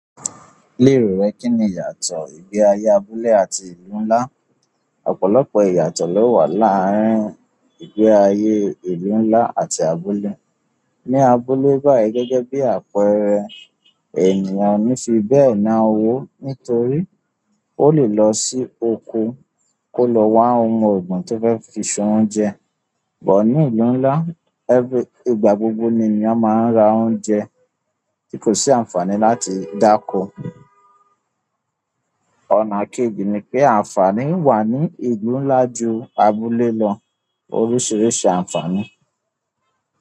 Lérò rẹ kínni ìyàtò ìgbé ayé abúlé àti ìlú ńlá? Ọ̀pọ̀lọpọ̀ ìyàtò ló wà láàárín ìgbé ayé ìlú ńlá àti abúlé. Ni abúlé bai gẹ́gẹ́ bi àpẹẹrẹ, ènìyàn o ni fi be náà owo nítorí o le lo si oko ko lo wa ounbe ti e fe fi se oúnjẹ. Bọ̀ ní ìlú ńlá, ẹ́very- ìgbà gbogbo ni ènìyàn máa ń ra óúnjẹ tí kò sí àǹfààní láti dáko. Ọ̀nà kejì ni pé àǹfààní wà ní ìlú ńlá ju abúlé lọ oríṣiríṣi àǹfààní.